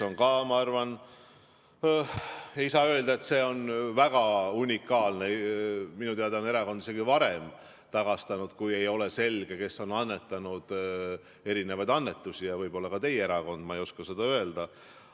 Ma arvan, et ei saa öelda, et see on väga unikaalne, minu teada on erakond ka varem tagastanud, kui ei ole selge, kes on teinud annetusi, võib-olla ka teie erakond, ma ei oska seda öelda.